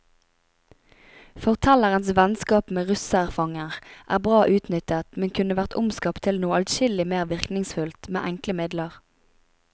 Fortellerens vennskap med russerfanger er bra utnyttet, men kunne vært omskapt til noe adskillig mer virkningsfullt, med enkle midler.